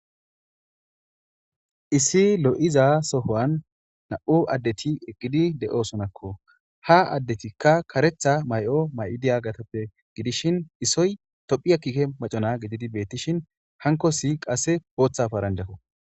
issi lo7iza sohuwan na7u addeti eqqidi de7oosonakko ha addetikka karetha may7o may7i diyagatuppe gidishin isoy tophiya kiike macona gididi beettishin hankossi qassi booththa paranjakko.